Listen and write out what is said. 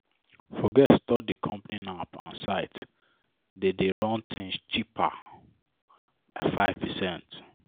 forget store di company app and site dey dey run things cheaper by 5%."